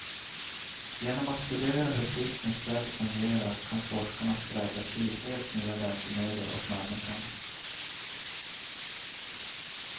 Genom att studera hur fiskens fjäll fungerar kan forskarna skräddarsy helt nya läkemedel åt människan.